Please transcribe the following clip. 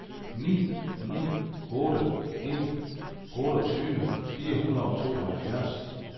ni ni otte en otteogtyve fire hundrede og tooghalvfjerds